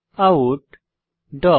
out